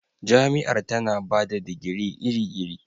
Jami'ar tana ba da digiri iri-iri